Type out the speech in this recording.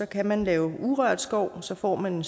kan man lave urørt skov og så får man